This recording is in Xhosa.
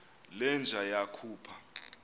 le nja yakhupha